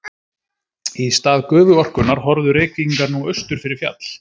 Í stað gufuorkunnar horfðu Reykvíkingar nú austur fyrir fjall.